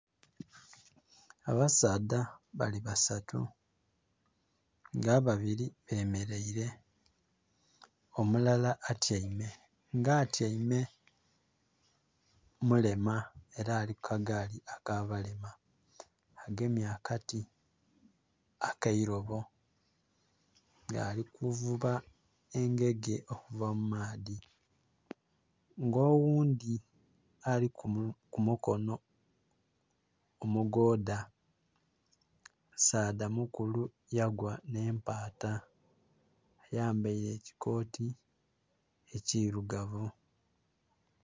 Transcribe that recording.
Abasaadha bali basatu nga ababiri bemeleire omulala atyaime, nga atyaime mulema ela ali ku kagaali ak'abalema, agemye akati ak'eirobo nga ali kuvuba engege okuva mu maadhi. Nga oghundhi ali ku mukono omugoodha, musaadha mukulu yagwa nh'empaata ayambaile ekikooti ekirugavu.